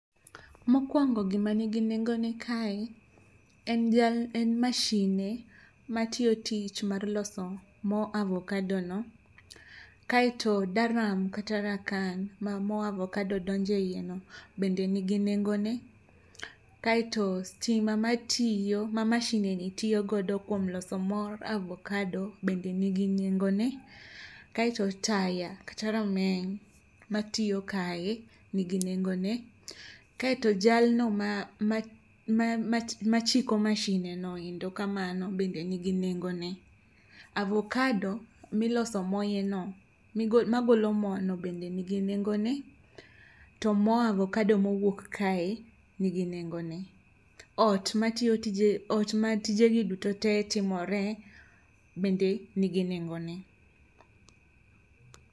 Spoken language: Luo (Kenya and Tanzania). Mokwongo gima nigi nengone kae en mashine matiyo tich mar loso mo avokado no. Kaeto daram kata rakan ma mo avokado donje iye no, bende nigi nengo ne. Kaeto stima ma tiyo ma mashine ni tiyo godo kuom loso mor avokado bende nigi nengo ne. Kaeto taya kata rameny ma tiyo kae nigi nengo ne. Kaeto jalno ma ma ma machiko mashine noendo kamano bende nigi nengo ne. Avokado miloso moye no, magolo mo no bende nigi nengo ne. To mo avokado mowuok kae nigi nengo ne. Ot matiyo tije ot ma tije gi duto te timore bende nigi nengo ne.